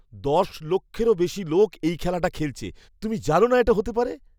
দশ লক্ষেরও বেশি লোক এই খেলাটা খেলেছে। তুমি জানো না এটা হতে পারে?